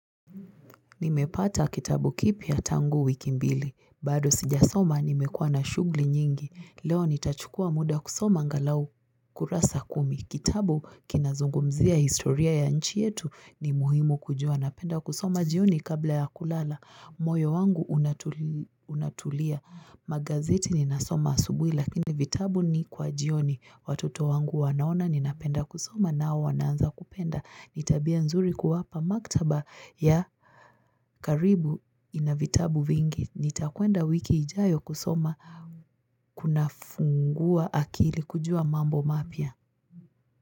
Nimepata kitabu kipya tangu wiki mbili, bado sijasoma nimekuwa na shugli nyingi, leo nitachukua muda kusoma angalau kurasa kumi, kitabu kinazungumzia historia ya nchi yetu ni muhimu kujua napenda kusoma jioni kabla ya kulala, moyo wangu unatulia, magazeti ninasoma asubui lakini vitabu ni kwa jioni, watoto wangu wanaona ninapenda kusoma nao wanaanza kupenda, ni tabia nzuri kuwapa maktaba ya karibu ina vitabu vingi, nitakwenda wiki ijaayo kusoma kuna fungua akili kujua mambo mapya.